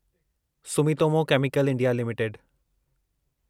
Sumitomo Chemical India limited